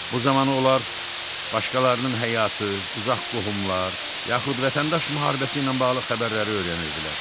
Bu zaman onlar başqalarının həyatı, uzaq qohumlar, yaxud vətəndaş müharibəsi ilə bağlı xəbərləri öyrənirdilər.